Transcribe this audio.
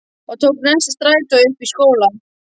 Og tók næsta strætó upp í skóla.